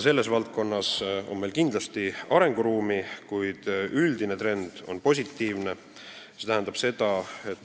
Selles valdkonnas on meil kindlasti arenguruumi, kuid üldine trend on positiivne.